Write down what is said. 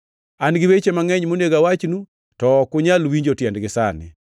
“An gi weche mangʼeny monego awachnu, to ok unyal winjo tiendgi sani.